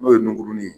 N'o ye ngurunin ye